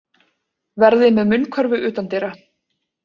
Verði með munnkörfu utandyra